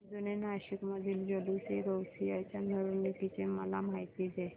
जुने नाशिक मधील जुलूसएगौसिया च्या मिरवणूकीची मला माहिती दे